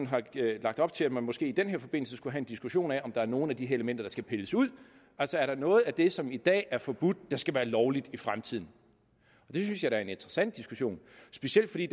har lagt op til at man måske i den her forbindelse skulle have en diskussion af om der er nogle af de her elementer der skal pilles ud altså er der noget af det som i dag er forbudt der skal være lovligt i fremtiden det synes jeg da er en interessant diskussion specielt fordi